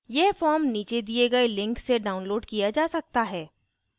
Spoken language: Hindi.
यह form नीचे दिए गए link से downloaded किया जा सकता है